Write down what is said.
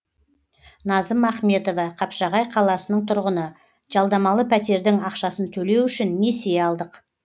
назым ахметова қапшағай қаласының тұрғыны жалдамалы пәтердің ақшасын төлеу үшін несие алдық